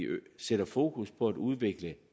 sætter fokus på at udvikle